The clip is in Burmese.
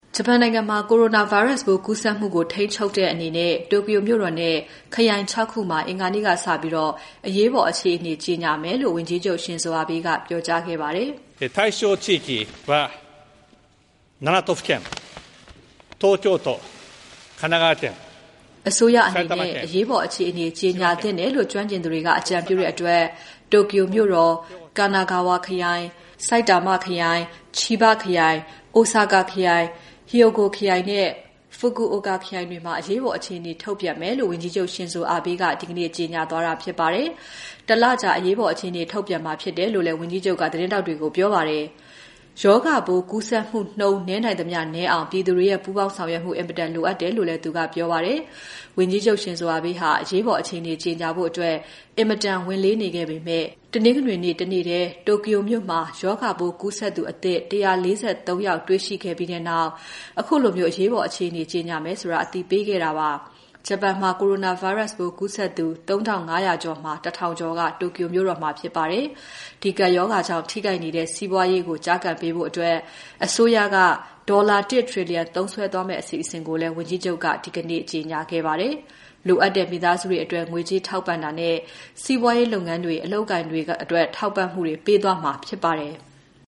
ဂျပန်နိုင်ငံမှာ coronavirus ပိုး ကူးစက်မှုကို ထိန်းချုပ်တဲ့အနေနဲ့ Tokyo မြို့တော်နဲ့ ခရိုင် ၆ ခုမှာ အင်္ဂါနေ့ကစပြီး အရေးပေါ် အခြေအနေ ကြေညာမယ်လို့ ဝန်ကြီးချုပ် Shinzo Abe က ပြောကြားခဲ့ပါတယ်။ အစိုးရအနေနဲ့ အရေးပေါ် အခြေအနေ ကြေညာသင့်တယ်လို့ ကျွမ်းကျင်သူတွေက အကြံပြုတဲ့အတွက် Tokyo မြို့တော်၊ Kanagawa ခရိုင်၊ Saitama ခရိုင် Chiba ချီဘခရိုင်၊ Osaka ခရိုင်၊ Hyogo ခရိုင်နဲ့ Fukuoka ခရိုင်တွေမှာ အရေးပေါ် အခြေအနေ ထုတ်ပြန်မယ်လို့ ဝန်ကြီးချုပ် Shinzo Abe ဒီကနေ့ ပြောကြားသွားတာဖြစ်ပါတယ်။ ၁ လကြာ အရေးပေါ် အခြေအနေ ထုတ်ပြန်မှာဖြစ်တယ်လို့ ဝန်ကြီးချုပ်က သတင်းထောက်တွေကို ပြောပါတယ်။ ရောဂါပိုးကူးစက်မှု နည်းနိုင်သမျှ နည်းအောင် ပြည်သူတွေရဲ့ ပူးပေါင်းဆောင်ရွက်မှု အင်မတန်လိုအပ်တယ်လို့လည်း ပြောသွားပါတယ်။ ဝန်ကြီးချုပ် Shinzo Abe ဟာ အရေးပေါ် အခြေအနေ ကြေညာဖို့ ဝန်လေးနေခဲ့ပေမဲ့ တနင်္ဂနွေနေ့ တနေ့ထဲ Tokyo မှာ ရောဂါပိုးကူးစက်သူ အသစ် ၁၄၃ ယောက် တွေ့ရှိခဲ့ပြီးနောက် ခုလို အရေးပေါ် အခြေအနေ ကြေညာမယ်ဆိုတာ အသိပေးခဲ့တာဖြစ်ပါတယ်။ ဂျပန်မှာ coronavirus ပိုးကူးစက်သူ ၃,၅၀၀ ကျော်မှာ ၁,၀၀၀ ကျော်က Tokyo မြို့တော်မှာဖြစ်ပါတယ်။ ဒီကပ်ရောဂါကြောင့် ထိခိုက်နေတဲ့ စီးပွားရေးကို ကျားကန်ပေးဖို့ အစိုးရက ဒေါ်လာ ၁ trillion သုံးစွဲသွားမယ့် အစီအစဉ်ကိုလည်း ဝန်ကြီးချုပ်က ဒီနေ့ကြေညာပါတယ်။ လိုအပ်နေတဲ့ မိသားစုတွေအတွက် ငွေကြေးထောက်ပံ့တာနဲ့ စီးပွားရေးလုပ်ငန်းတွေ အလုပ်အကိုင်တွေအတွက ထောက်ပံ့မှုတွေ ပေးသွားမှာဖြစ်ပါတယ်။